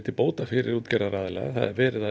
til bóta fyrir útgerðir það er verið að